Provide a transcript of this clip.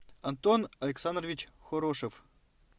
антон александрович хорошев